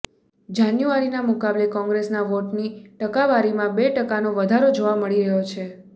જાન્યુઆરીના મુકાબલે કોંગ્રેસના વોટની ટકાવારીમાં બે ટકાનો વધારો જોવા મળી રહ્યો છે